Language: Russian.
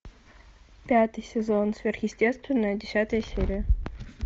пятый сезон сверхъестественное десятая серия